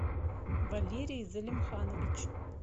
валерий залимханович